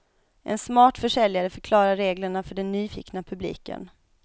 En smart försäljare förklarar reglerna för den nyfikna publiken.